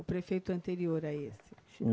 O prefeito anterior a esse? Sim